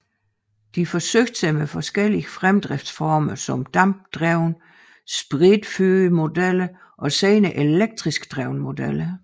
De forsøgte sig med forskellige fremdriftsformer som dampdrevne spritfyrede modeller og senere elektrisk drevne modeller